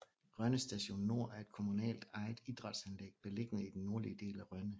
Rønne Stadion Nord er et kommunalt ejet idrætsanlæg beliggende i den nordlige del af Rønne